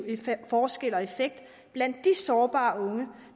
forskel og effekt blandt de sårbare unge